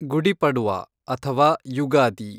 ಗುಡಿ ಪಡ್ವಾ ಅಥವಾ ಯುಗಾದಿ